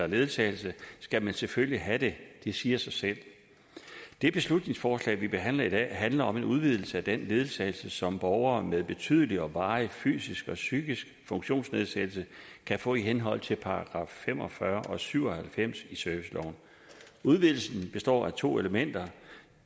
ledsagelse skal man selvfølgelig have det det siger sig selv det beslutningsforslag vi behandler i dag handler om en udvidelse af den ledsagelse som borgere med betydelig og varig fysisk eller psykisk funktionsnedsættelse kan få i henhold til § fem og fyrre og § syv og halvfems i serviceloven udvidelsen består af to elementer